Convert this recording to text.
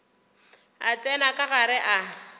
a tsena ka gare ga